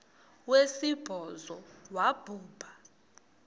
wesibhozo wabhu bha